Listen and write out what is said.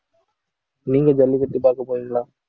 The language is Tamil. நீங்க ஜல்லிக்கட்டு பார்க்க போறீங்களா